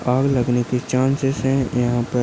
आग लगने के चान्सेस है यहाँ पर।